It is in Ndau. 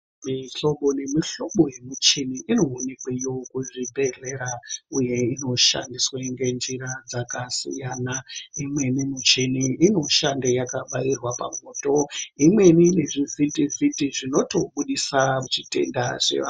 Mihlobo nemuhlobo yemichini inoonekweyo kuzvibhedhlera uye inoshandiswe ngenjira dzakasiyana . Imweni muchini inoshande yakabairwa pamwoto. Imweni iri zvivhitivhiti zvinotobudisa zvitenda zveva...